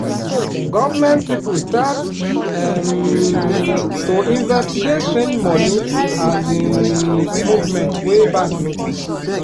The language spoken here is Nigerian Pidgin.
government people start um to investigate strange money um movement wey bank notice.